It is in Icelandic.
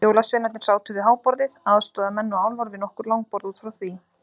Jólasveinarnir sátu við háborðið, aðstoðarmenn og álfar við nokkur langborð út frá því.